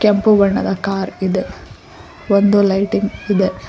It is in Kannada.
ಕೆಂಪು ಬಣ್ಣದ ಕಾರ್ ಇದೆ ಒಂದು ಲೈಟಿಂಗ್ ಇದೆ.